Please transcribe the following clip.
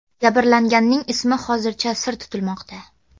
Jabrlanganning ismi hozircha sir tutilmoqda.